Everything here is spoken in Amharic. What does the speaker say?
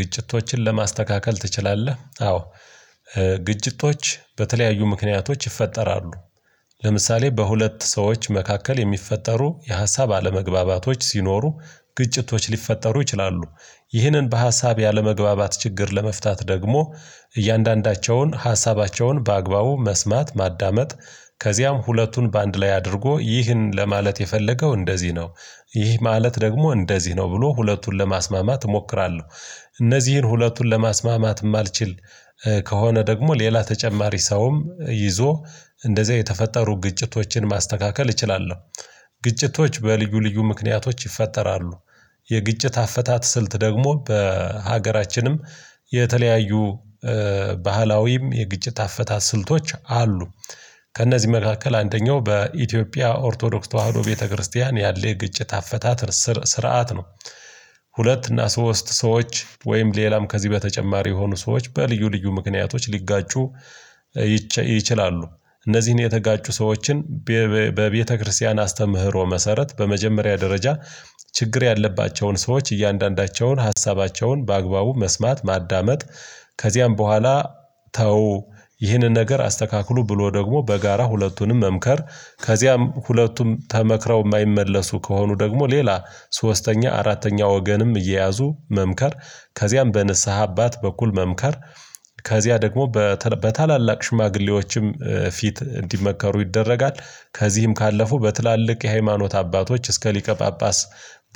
ግጭቶችን ለማስተካከል ትችላለህ? አዎ ግጭቶች በተለያዩ ምክንያቶች ይፈጠራሉ። ለምሳሌ በሁለት ሰዎች መካከል የሚፈጠሩ የሀሳብ አለመግባባቶች ሲኖሩ ግጭቶች ሊፈጠሩ ይችላሉ። ይህንን በሀሳብ ያለመግባባት ችግር ለመፍታት ደግሞ እያንዳንዳቸውን ሀሳባቸውን በአግባቡ መስማት ማዳመጥ ከዚያም ሁለቱን በአንድ ላይ አድርጎ ይህን ለማለት የፈለገው እንደዚህ ነው ይህ ማለት ደግሞ እንደዚህ ነው ብሎ ሁለቱን ለማስማማት እሞክራለሁ። እነዚህን ሁለቱን ለማስማማትም አልችል ከሆነ ደግሞ ሌላ ተጨማሪ ሰውም ይዞ እንደዚህ የተፈጠሩ ግጭቶችን ማስተካከል እችላለሁ። ግጭቶች በልዩ ልዩ ምክንያቶች ይፈጠራሉ። የግጭት አፈታት ስልት ደግሞ በሀገራችንም የተለያዩ ባህላዊም የግጭት አፈታ ስልቶች አሉ። ከእነዚህ መካከል አንደኛው በኢትዮጵያ ኦርቶዶክስ ተዋህዶ ቤተክርስቲያን ያለ የግጭት አፈታት ስር ስርዓት ነው። ሁለት እና ሶስት ሰዎች ወይም ሌላም ከዚህ በተጨማሪ የሆኑ ሰዎች በልዩ ልዩ ምክንያቶች ሊጋጩ ይችላሉ። እነዚህን የተጋጩ ሰዎችን በቤተክርስቲያን አስተምህሮ መሰረት በመጀመሪያ ደረጃ ችግር ያለባቸውን ሰዎች እያንዳንዳቸውን ሀሳባቸውን በአግባቡ መስማት ማዳመጥ። ከዚያም በኋላ ተው ይህንን ነገር አስተካክሉ ብሎ ደግሞ በጋራ ሁለቱንም መምከር ከዚያም ሁለቱም ተመክረው የማይመለሱ ከሆኑ ደግሞ ሌላ ሶስተኛ አራተኛ ወገንም እየያዙ መምከር ከዚያም በንስሃ አባት በኩል መምከር ከዚያ ደግሞ በታላላቅ ሽማግሌዎችም ፊት እንዲመከሩ ይደረጋል። ከዚህም ካለፉ በትላልቅ የሃይማኖት አባቶች እስከ ሊቀ ጳጳስ